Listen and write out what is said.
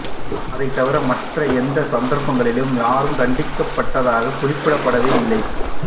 அதைத் தவிர மற்றய எந்த சந்தர்ப்பங்களிலும் யாரும் தண்டிக்கப்பட்டதாக குறிப்பிடப்படவே இல்லை